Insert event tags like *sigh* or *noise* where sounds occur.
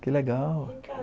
Que legal! *unintelligible*